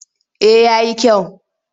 Eh ya yi kyau.